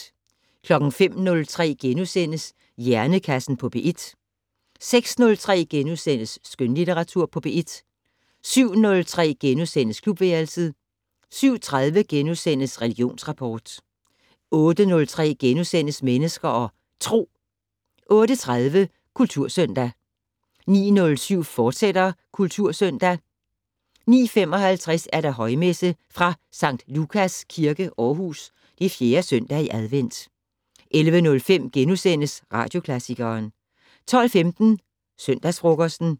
05:03: Hjernekassen på P1 * 06:03: Skønlitteratur på P1 * 07:03: Klubværelset * 07:30: Religionsrapport * 08:03: Mennesker og Tro * 08:30: Kultursøndag 09:07: Kultursøndag, fortsat 09:55: Højmesse - fra Skt. Lukas Kirke, Aarhus. 4. søndag i advent. 11:05: Radioklassikeren * 12:15: Søndagsfrokosten